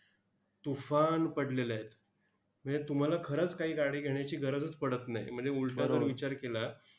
तुफान पडलेले आहेत. म्हणजे तुम्हाला खरंच काही गाडी घेण्याची गरजच पडत नाही. म्हणजे उलटा जर विचार केला,